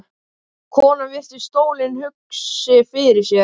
Konan virti stólinn hugsi fyrir sér.